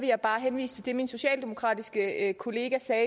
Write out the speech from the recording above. jeg bare henvise til det min socialdemokratiske kollega sagde